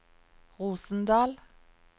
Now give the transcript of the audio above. Rosendal